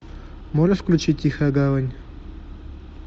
можешь включить тихая гавань